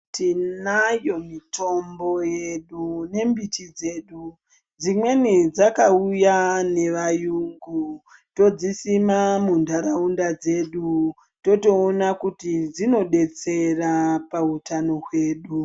Tinayo mitombo yedu ne mbiti dzedu dzimweni dzaka uya ne vayungu todzi sima mu ndaraunda dzedu toto ona kuti dzino detsera pa utano hwedu.